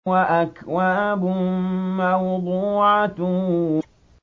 وَأَكْوَابٌ مَّوْضُوعَةٌ